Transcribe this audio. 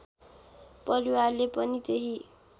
परिवारले पनि त्यही